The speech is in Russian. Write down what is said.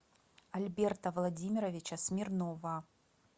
альберта владимировича смирнова